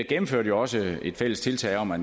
gennemførte jo også et fælles tiltag om at